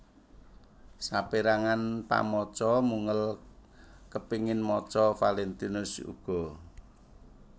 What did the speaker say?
Sapérangan pamaca mungel kepéngin maca Valentinius uga